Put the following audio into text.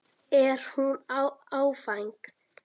Er hún áfeng?